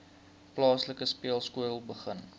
plaaslike speelskool begin